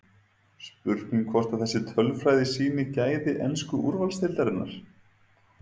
Spurning hvort að þessi tölfræði sýni gæði ensku úrvalsdeildarinnar?